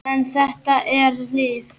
En þetta er þitt líf.